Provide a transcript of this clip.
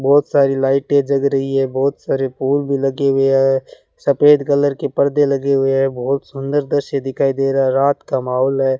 बहोत सारी लाइटें जग रही है बहोत सारे फूल भी लगे हुए है सफेद कलर के परदे लगे हुए हैं बहोत सुंदर दृश्य दिखाई दे रहा है रात का माहौल है।